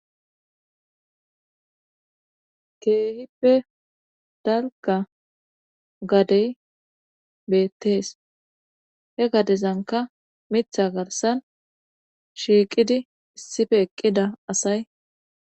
Keehippe dalga gadey beettees he gadezanka mitha garsan shiiqidi issife eqqida asay